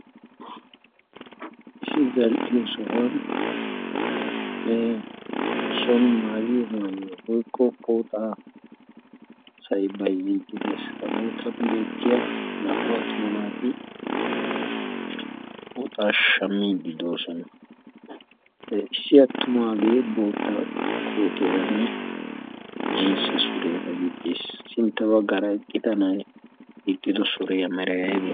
issi zal'iyo sohuwan son maayiyo maayiywaa goikko poxaa sai bai-ziqqidees. ha bootan beettiya naa'u attuma naatii pooxaa shamii doosona. h issi attumaagee bootta kootiyaaranne jinsse sureara gixxiis sinttabaa garaqqitanai iqxido suree a amaltii?